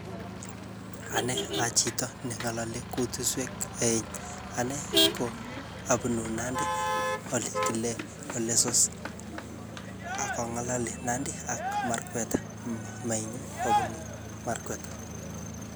Ane achito ne ngalali kutuswek aeng. Anee, ko abunu Nandi ole kile Ol Lessos. Akangalali Nandi ak Merkweta. Mamainyu kobunu merkweta.